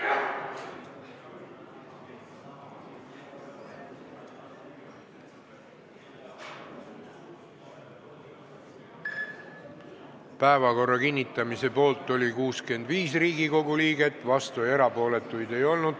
Hääletustulemused Päevakorra kinnitamise poolt oli 65 Riigikogu liiget, vastuolijaid ega erapooletuid ei olnud.